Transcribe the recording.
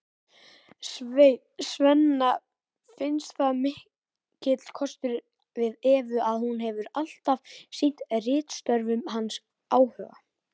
Svenna finnst það mikill kostur við Evu að hún hefur alltaf sýnt ritstörfum hans áhuga.